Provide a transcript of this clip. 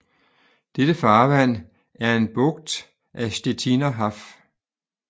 Dette farvand er en bugt af Stettiner Haff